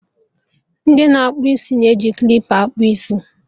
Ndị na akpụ isi na-eji klipa akpụ isi